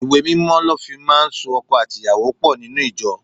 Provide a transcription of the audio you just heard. Ìwé Mímọ́ lọ fi máa ń so ọkọ àti ìyàwó pò nínú ìjọ.